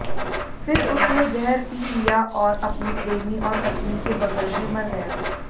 फिर उसने जहर पी लिया और अपने प्रेमी और पत्नी के बगल में मर गया